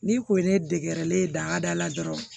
N'i ko ye ne degɛrɛlen ye dahada la dɔrɔn